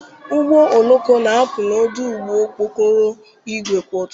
Ụgbọ oloko na-apụ n'ọdụ ụgbọ okporo ígwè kwa ụtụtụ.